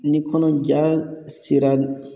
Ni kɔnɔja sera